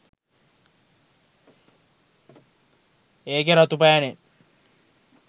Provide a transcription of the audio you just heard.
ඒකෙ රතු පෑනෙන්